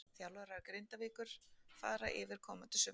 Þjálfarar Grindavíkur fara yfir komandi sumar.